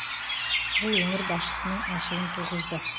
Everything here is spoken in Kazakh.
бұл өңір басшысының ашуын туғызды